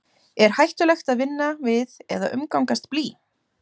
er hættulegt að vinna við eða umgangast blý